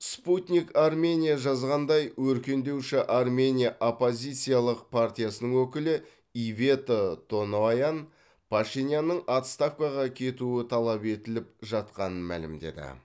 спутник армения жазғандай өркендеуші армения оппозициялық партиясының өкілі ивета тоноян пашинянның отставкаға кетуі талап етіліп жатқанын мәлімдеді